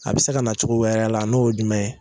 A bi se ka na cogo wɛrɛ la n'o ye jumɛn ye ?